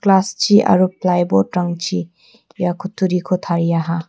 glass-chi aro plyboard-rangchi ia kutturiko tariaha.